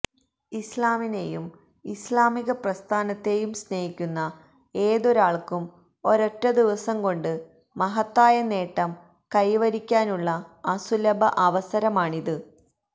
ഇസ്ലാമിനെയും ഇസ്ലാമിക പ്രസ്ഥാനത്തെയും സ്നേഹിക്കുന്ന ഏതൊരാള്ക്കും ഒരൊറ്റ ദിവസം കൊണ്ട് മഹത്തായ നേട്ടം കൈവരിക്കാനുള്ള അസുലഭ അവസരമാണിത്